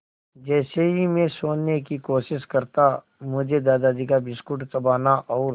जैसे ही मैं सोने की कोशिश करता मुझे दादाजी का बिस्कुट चबाना और